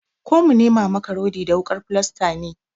Ko mu nema maka rodi da wukar filasta ne?